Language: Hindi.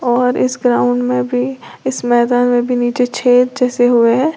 और इस ग्राउंड में भी इस मैदान में भी नीचे छेद जैसे हुए हैं।